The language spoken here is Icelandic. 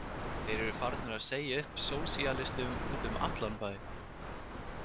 Þeir eru farnir að segja upp sósíalistum úti um allan bæ.